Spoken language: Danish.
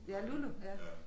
Ja Lulu ja